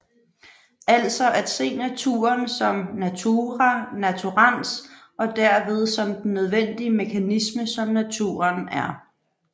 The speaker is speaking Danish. Altså at se naturen som natura naturans og derved som den nødvendige mekanisme som naturen er